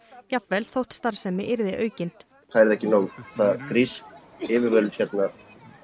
jafnvel þótt starfsemi yrði aukin það yrði ekki nóg grísk yfirvöld hérna